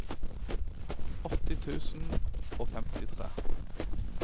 åtti tusen og femtitre